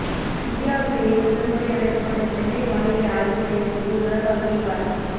இந்தியாவிலேயே முதல் முறை அமைக்கப்பட்ட சென்னை வானிலை ஆய்வு மையத்துக்கு உலக அங்கீகாரம்